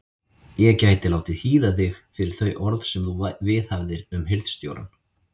Ég gæti látið hýða þig fyrir þau orð sem þú viðhafðir um hirðstjórann.